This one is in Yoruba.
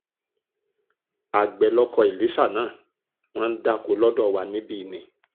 àgbẹ̀ lọkọ èlíṣà náà wọ́n ń dáko lọ́dọ̀ wa níbí ni